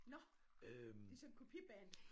Nåh de sådan et kopi band?